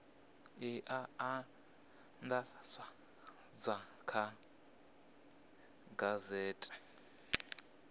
e a andadzwa kha gazethe